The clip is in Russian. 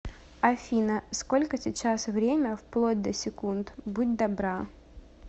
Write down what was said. афина сколько сейчас время вплоть до секунд будь добра